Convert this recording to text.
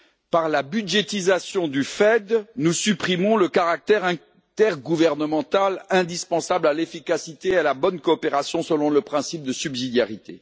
Par la budgétisation du FED, nous supprimons le caractère intergouvernemental indispensable à l'efficacité et à la bonne coopération selon le principe de subsidiarité.